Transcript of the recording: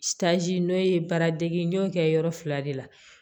n'o ye baara degi n y'o kɛ yɔrɔ fila de la